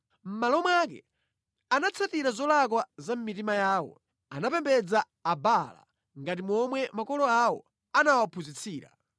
Mʼmalo mwake, anatsatira zolakwa za mʼmitima yawo; anapembedza Abaala ngati momwe makolo awo anawaphunzitsira.”